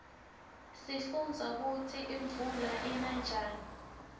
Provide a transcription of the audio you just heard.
sifundza kutsi imuula ina njani